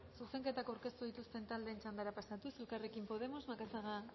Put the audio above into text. zuzenketak aurkeztu dituzten taldeen txandara pasatuz elkarrekin podemos macazaga